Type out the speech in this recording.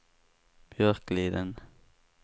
Björkliden